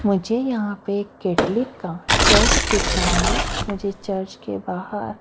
मुझे यहाँ पे केटलिक का चर्च दिख रहा है मुझे चर्च के बाहर--